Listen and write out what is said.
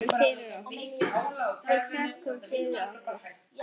Við þökkum fyrir okkur.